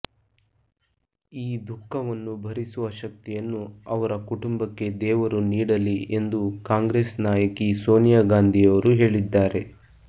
ಈ ದುಃಖವನ್ನು ಭರಿಸುವ ಶಕ್ತಿಯನ್ನು ಅವರ ಕುಟುಂಬಕ್ಕೆ ದೇವರು ನೀಡಲಿ ಎಂದು ಕಾಂಗ್ರೆಸ್ ನಾಯಕಿ ಸೋನಿಯಾ ಗಾಂಧಿಯವರು ಹೇಳಿದ್ದಾರೆ